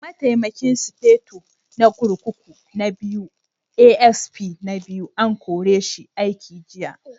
Mataimakin Sufeto na kurkuku na Biyu (ASP II) an kore shi aiki jiya.